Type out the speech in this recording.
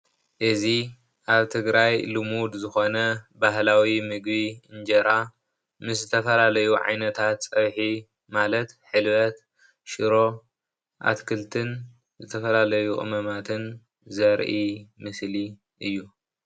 እዚ ኣብ ትግራይ ልሙድ ዝኮነ ባህላዊ ምግቢ እንጀራ ምስ ዝተፈላለዩ ዓይነታት ፀብሒ ማለት ሕልበት፣ ሽሮ፣ ኣትክልትን ዝተፈላለዩ ቅመማትን ዘርኢ ምስሊ እዩ፡፡